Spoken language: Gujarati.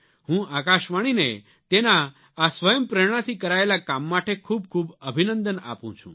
હું આકાશવાણીને તેના આ સ્વયં પ્રેરણાથી કરાયેલા કામ માટે ખૂબખૂબ અભિનંદન આપું છું